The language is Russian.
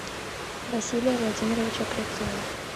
василия владимировича клевцова